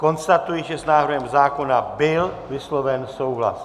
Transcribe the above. Konstatuji, že s návrhem zákona byl vysloven souhlas.